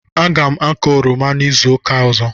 Aga m akọ oroma izu ụka ọzọ.